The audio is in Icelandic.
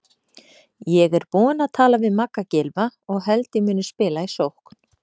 Ég er búinn að tala við Magga Gylfa og held ég muni spila í sókn.